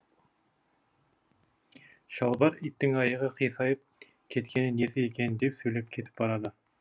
шалбар иттің аяғы қисайып кеткені несі екен деп сөйлеп кетіп барады